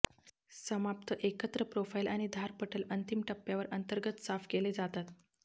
समाप्त एकत्र प्रोफाइल आणि धार पटल अंतिम टप्प्यावर अंतर्गत साफ केले जातात